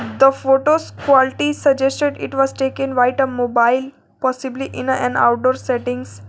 The photos quality suggested it was taken whitener mobile possibly in an outdoor settings.